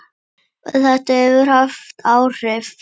Og þetta hefur haft áhrif.